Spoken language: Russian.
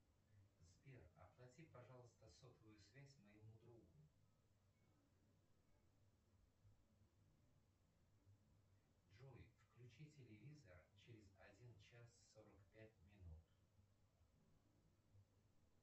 сбер оплати пожалуйста сотовую связь моему другу джой включи телевизор через один час сорок пять минут